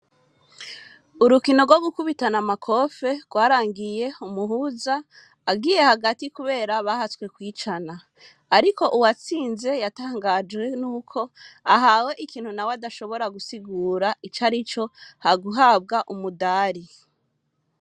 Urukino rwo gukubitana amakofe rwarangiye umuhuza agiye hagati kubera bahatswe kwicana. Ariko uwatsinze yatangajwe n'uko ahawe ikintu nawe adashobora gusigura icarico, ha guhabwa umudari.